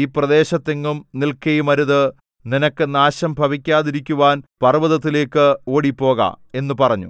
ഈ പ്രദേശത്തെങ്ങും നിൽക്കയുമരുത് നിനക്ക് നാശം ഭവിക്കാതിരിക്കുവാൻ പർവ്വതത്തിലേക്ക് ഓടിപ്പോക എന്നു പറഞ്ഞു